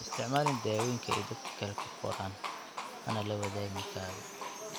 Ha isticmaalin dawooyinka ay dadka kale kuu qoraan, hana la wadaagin kaaga.